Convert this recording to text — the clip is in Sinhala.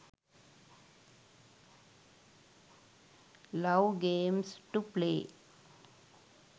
love games to play